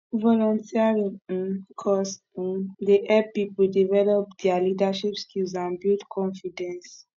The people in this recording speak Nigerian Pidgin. volunteering um cause um dey help people develop dia leadership skills and build confidence